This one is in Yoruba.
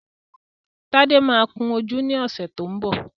Tádé máa kun ojú ní ọ̀sẹ̀ tó ń bọ̀